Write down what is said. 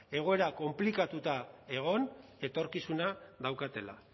egoera konplikatuta egon etorkizuna daukatela